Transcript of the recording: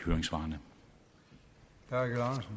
høj grad